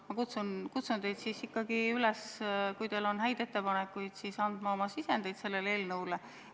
Ma kutsungi teid üles, kui teil on häid ettepanekuid, andma oma sisendeid sellele eelnõule.